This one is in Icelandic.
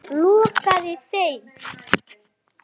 Lokaði þeim.